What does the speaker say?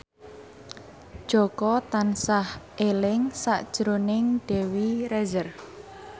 Jaka tansah eling sakjroning Dewi Rezer